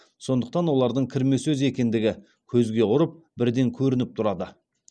сондықтан олардың кірме сөз екендігі көзге ұрып бірден көрініп тұрады